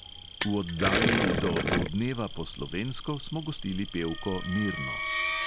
V oddaji do opoldneva po slovensko smo gostili pevko mirno.